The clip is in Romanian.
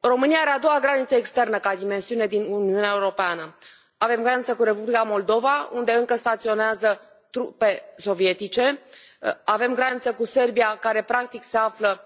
România are a doua graniță externă ca dimensiune din Uniunea Europeană. Avem graniță cu Republica Moldova unde încă staționează trupe sovietice, avem graniță cu Serbia care practic se află